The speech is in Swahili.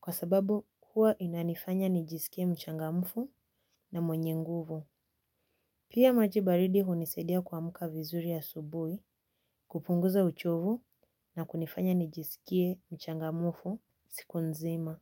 kwa sababu kuwa inanifanya nijisikie mchangamufu na mwenye nguvu. Pia maji baridi hunisaidia kuamuka vizuri asubui kupunguza uchovu na kunifanya nijisikie mchangamufu siku nzima.